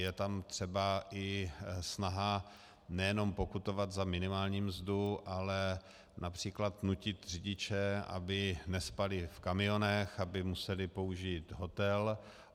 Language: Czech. Je tam třeba i snaha nejenom pokutovat za minimální mzdu, ale například nutit řidiče, aby nespali v kamionech, aby museli použít hotel.